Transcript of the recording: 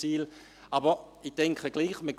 » Ich denke gleichwohl ...